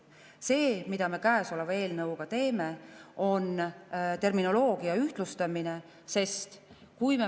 See, mida me käesoleva eelnõuga teeme, on terminoloogia ühtlustamine.